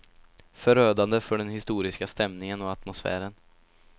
Förödande för den historiska stämningen och atmosfären.